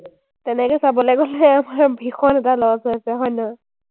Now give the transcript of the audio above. তেনেকে চাবলে গ’লে আমাৰ ভীষণ এটা loss হৈ আছে, হয় নহয়?